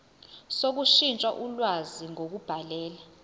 sokushintsha ulwazi ngokubhalela